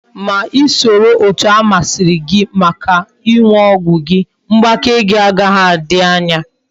Ma isoro etu amaziri gi Maka iñu ogwu gi, mgbake gi agaghi adi anya